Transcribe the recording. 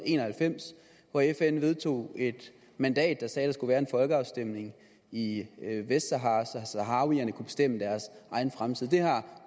en og halvfems hvor fn vedtog et mandat der sagde at der skulle være en folkeafstemning i vestsahara så saharawierne kunne bestemme deres egen fremtid det har